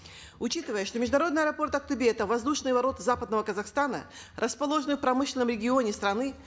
учитывая что международный аэропорт актобе это воздушные ворота западного казахстана расположенные в промышленном регионе страны